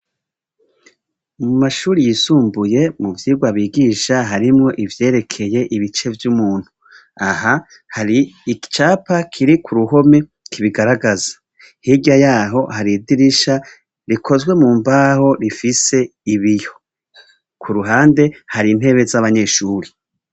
Mumashure yisumbuye muvyigwa bigisha harimwo ivyerekeye ibice vy' umuntu aha hari icapa kiri kuruhome kibigaragaza hirya yaho hari idirisha rikozwe mu mbaho bifise ibiyo kuruhande hari intebe abanyeshure.